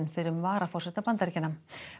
fyrrum varaforseta Bandaríkjanna